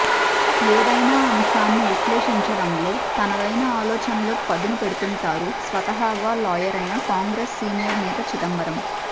ఏదైనా అంశాన్ని విశ్లేషించడంలో తనదైన ఆలోచనలకు పదును పెడుతుంటారు స్వతహాగా లాయరైన కాంగ్రెస్ సీనియర్ నేత చిదంబరం